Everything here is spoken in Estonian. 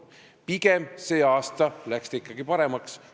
Pigem läks see aasta olukord ikkagi paremaks.